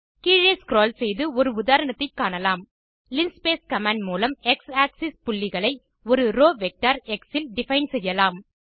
கீழே ஸ்க்ரோல் செய்து ஒரு உதாரணத்தை காணலாம் லின்ஸ்பேஸ் கமாண்ட் மூலம் எக்ஸ் ஆக்ஸிஸ் புள்ளிகளை ஒரு ரோவ் வெக்டர் எக்ஸ் இல் டிஃபைன் செய்யலாம்